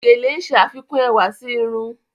Gèlè ń ṣe àfikún ẹwà sí irun.